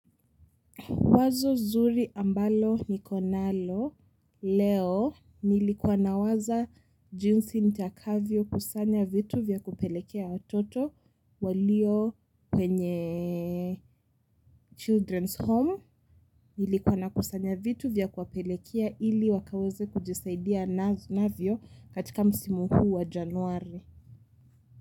Wazo nzuri ambalo niko nalo leo, nilikua nawaza jinsi nitakavyo kusanya vitu vya kupelekea watoto walio kwenye children home nilikua na kusanya vitu vya kuwapelekea ili wakaweza kujisaidia navyo katika msimu huu wa january.